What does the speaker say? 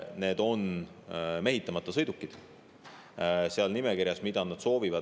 Seal soovinimekirjas on ka mehitamata sõidukid.